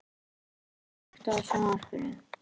Dagbjört, kveiktu á sjónvarpinu.